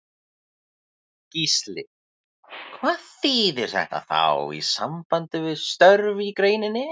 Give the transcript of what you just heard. Gísli: Hvað þýðir þetta þá í sambandi við störf í greininni?